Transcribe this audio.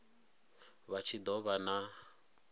vha tshi do vha na